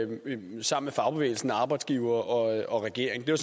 fagbevægelsen arbejdsgiverne og regeringen det